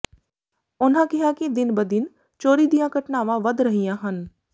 ਉਨ੍ਹਾਂ ਕਿਹਾ ਕਿ ਦਿਨ ਬ ਦਿਨ ਚੋਰੀ ਦੀਆਂ ਘਟਨਾਵਾਂ ਵੱਧ ਰਹੀਆਂ ਹਨ